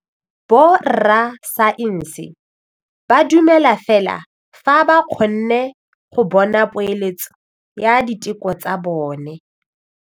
Borra saense ba dumela fela fa ba kgonne go bona poeletsô ya diteko tsa bone.